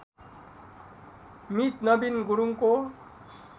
मित नबिन गुरुङको